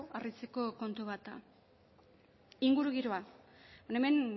harritzeko kontu bat da ingurugiroa hemen